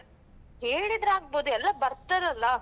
ಹೇಳಿದ್ರೆ ಆಗ್ಬೋದು. ಎಲ್ಲಾ ಬರ್ತಾರಲ್ಲಾ?